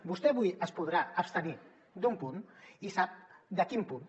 vostè avui es podrà abstenir d’un punt i sap de quin punt